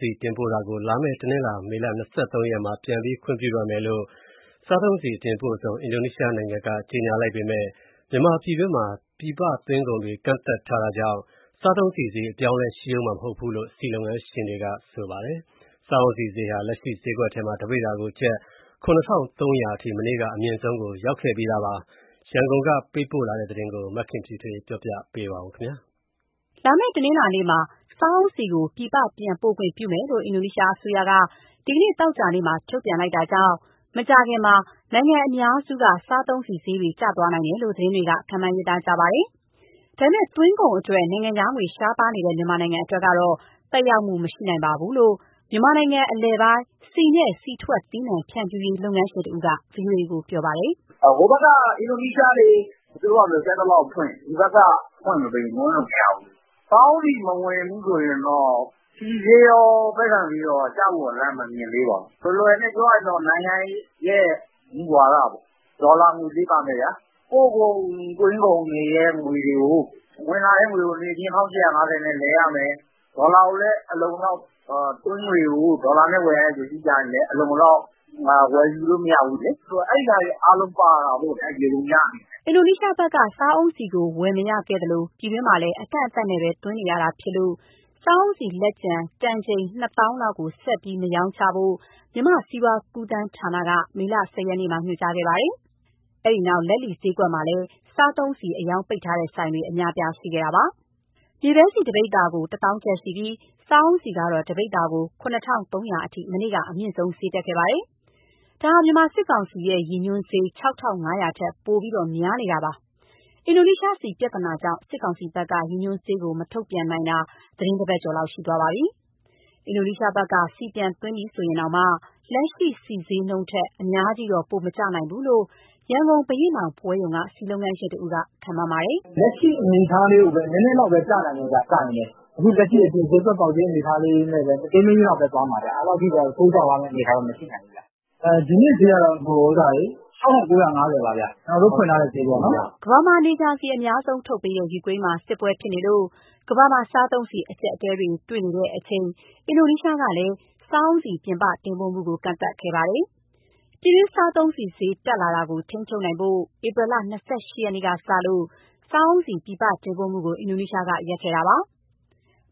ဆီတင်ပို့တာကို လာမယ့်မေလ၂၃ ရက်မှာ ပြန်ပြီးခွင့်ပြုတော့မယ်လို့ အင်ဒိုနီးရှားအစိုးရက ကြေညာလိုက်ပေမယ့် မြန်မာပြည်တွင်းမှာ ပြည်ပသွင်းကုန်တွေ ကန့်သတ် ထားတဲ့အတွက် စားသုံးဆီဈေးအပြောင်းအလဲရှိဦးမှာမဟုတ်ဘူးလို့ ဆီလုပ်ငန်းရှင်တွေက ပြောပါတယ်။ စားအုန်းဆီဈေးဟာ ဈေးကွက်ထဲမှာ တပိဿာကို ကျပ် ၇,၃၀၀ အထိ မနေ့က အမြင့်ဆုံးရောက်ခဲ့ပါတယ်။ ရန်ကုန်က ပေးပို့တဲ့သတင်း မခင်ဖြူထွေးကတင်ပြပေးထားပါတယ်။ လာမယ့် တနင်္လာနေ့မှာ စားအုန်းဆီကို ပြည်ပပြန်ပို့ခွင့်ပြုမယ်လို့ အင်ဒိုနီးရှားအစိုးရက ဒီနေ့သောကြာနေ့မှာ ထုတ်ပြန်လိုက်တာကြောင့် မကြာခင်မှာ နိုင်ငံအများစုက စားဆီဈေးတွေ ကျသွားနိုင်တယ်လို့ သတင်းတွေက ခန့်မှန်းရေးသားကြပါတယ်။ ဒါပေမယ့် သွင်းကုန်အတွက် နိုင်ငံခြားငွေရှားပါးနေတဲ့ မြန်မာနိုင်ငံအတွက်တော့ သက်ရောက်မှုမရှိနိုင်ပါဘူးလို့ မြန်မာနိုင်ငံအလယ်ပိုင်း ဆီနှင့်ဆီထွက်သီးနှံဖြန့်ဖြူးရေး လုပ်ငန်းရှင်တဦးက ဗွီအိုအေကို ပြောပါတယ်။ "ဟိုဘက်က အင်ဒိုနီးရှားတွေ တင်သွင်းခွင့်တွေ သူတို့ဖာသာ ကြိုက်သလောက်ဖွင့် ဒီဘက်က ဖွင့်မပေးရင် သွင်းလို့မရဘူး။ စားအုန်းဆီ မဝင်ဘူးဆိုရင်တော့ ဆီဈေးရော၊ ပဲဆံဈေးရောကကျဖို့ရာ လမ်းမမြင်သေးပါဘူး။ လွယ်လွယ်နဲ့ပြောရရင်တော့ နိုင်ငံရေးရဲ့ မူဝါဒပေါ့။ ဒေါ်လာငွေကြေး ပါမယ်ဗျာ၊ ပို့ကုန် သွင်းကုန်တွေ ဝင်လာတဲ့ငွေတွေကို ချက်ချင်း ၁,၈၅၀ နဲ့လဲရမယ် သွင်းကုန်ကို ဒေါ်လာနဲ့ဝယ်ရမယ်ဆို အလုံအလောက်ဝယ်လို့မရဘူး ဆိုတော့ အဲဒါတွေအားလုံး ပါတာပေါ့ဗျာ။ ယေဘုယျအနေနဲ့။" အင်ဒိုနီးရှားဘက်က စားအုန်းဆီကို ဝယ်မရခဲ့သလို ပြည်တွင်းမှာလည်း အကန့်အသတ်နဲ့ပဲ သွင်းနေရတာဖြစ်လို့ စားအုန်းဆီလက်ကျန် တန်ချိန် ၂၀,၀၀၀ လောက်ကို ဆက်ပြီးမရောင်းချဖို့ မြန်မာစီးပွားကူးသန်းဌာနက မေလ ၁၀ရက်မှာ ညွှန်ကြားခဲ့ပါတယ်။ အဲဒီနောက် လက်လီဈေးကွက်မှာလည်း စားသုံးဆီအရောင်းပိတ်ထားတဲ့ဆိုင်တွေ အများအပြားရှိခဲ့တာပါ။ မြေပဲဆီ တပိဿာကို ၁၀,၀၀၀ ကျပ်ရှိပြီး စားအုန်းဆီကတော့ တပိဿာကို ၇,၃၀၀ အထိ မနေ့က အမြင့်ဆုံးတက်ခဲ့ပါတယ်။ ဒါက မြန်မာစစ်ကောင်စီရဲ့ ရည်ညွှန်ဈေး ၆,၅၀၀ ထက်ပိုပြီးများနေတာပါ။ အင်ဒိုနီးရှားဆီပြဿာနာကြောင့် စစ်ကောင်စီဘက်က ရည်ညွှန်ဈေးကို မထုတ်ပြန်နိုင်တာ သီတင်းတပတ်ကျော်လောက် ရှိသွားပါပြီ။ အင်ဒိုနီးရှားဘက်က ဆီပြန်သွင်းပြီဆိုရင်တောင်မှ လက်ရှိဆီဈေးနှုန်းထက် အများကြီးတော့ ပိုမကျနိုင်ဘူးလို့ ရန်ကုန်၊ ဘုရင့်နောင်ပွဲရုံက ဆီလုပ်ငန်းရှင်တဦးက ခန့်မှန်းပါတယ်။ " လက်ရှိအနေအထားလေးကိုပဲ နည်းနည်းလောက်ပဲ ကျနိုင်မယ်ဗျ၊ ကျရင်လည်း။ အခုလက်ရှိ အပြင်ဈေးကွက်ပေါက်ဈေး မတိမ်းမယိမ်းလောက်ပဲ သွားမှာဗျ။ အဲလောက်တော့ ထိုးကျသွားမယ့်အနေအထား မရှိနိုင်ဘူး။ ဒီနေ့ဈေးကတော့ ( စားအုန်းဆီ တပိဿာ) ၆,၉၅၀ ပါဗျ၊ ကျနော်တို့ဖွင့်ထားတဲ့ ဈေးပေါ့နော်။" ကမ္ဘာမှာ နေကြာဆီအများဆုံးထုတ်ပေးတဲ့ ယူကရိန်းမှာ စစ်ပွဲဖြစ်လို့ ကမ္ဘာမှာ စားသုံးဆီအကျပ်အတည်းတွေ့နေတဲ့အချိန် အင်ဒိုနီးရှားကလည်း စာအုန်းဆီ ပြည်ပတင်ပို့မှုကို ကန့်သတ်ခဲ့ပါတယ်။ ပြည်တွင်းစားသုံးဆီဈေးတက်လာတာကို ထိန်းချုပ်နိုင်ဖို့ ဧပြီလ ၂၈ရက်နေ့ကစလို့ စားအုန်းဆီပြည်ပတင်ပို့မှုကို အင်ဒိုနီးရှားကရပ်ဆိုင်းခဲ့ပါတယ်။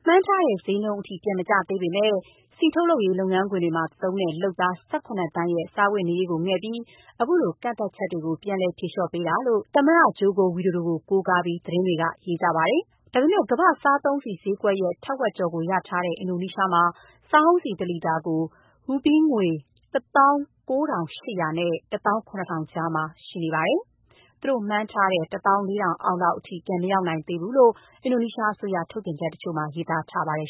မှန်းထားတဲ့ ဈေးနှုန်းအထိ ပြန်မကျသေးပေမဲ့ ဆီထုတ်လုပ်ရေး လုပ်ငန်းခွင်တွေမှာရှိတဲ့ လုပ်သား ၁၇ သန်းရဲ့ စားဝတ်နေရေးကိုငဲ့ပြီး အခုလို ကန့်သတ်ချက်တွေ ဖြေလျှော့ပေးလိုက်တာလို့ သမ္မတဂျိုကိုဝီဒိုဒို ကို ကိုးကားပြီး သတင်းတွေက ရေးသားကြပါတယ်။ ဒါပေမဲ့ ကမ္ဘာ့ဈေးကွက်ရဲ့ ထက်ဝက်ကျော်ကိုရထားတဲ့ အင်ဒိုနီးရှားမှာ စားအုန်းဆီတလီတာကို ရူးပီးယားငွေ ၁၉,၈၀၀ နဲ့ ၁၇,၀၀၀ ကြားရှိနေပါတယ်။ သူတို့မှန်းထားတဲ့ ၁၄,၀၀၀ လောက်အထိ ပြန်မရောက်သေးဘူးလို့ အင်ဒိုနီးရှားအစိုးရ ထုတ်ပြန်ချက်တချို့မှာ ရေးသားထားပါတယ်